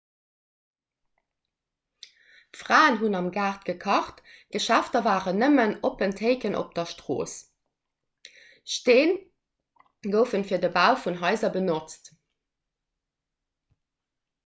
d'fraen hunn am gaart gekacht d'geschäfter waren nëmmen oppen théiken op d'strooss stee gouf fir de bau vun haiser benotzt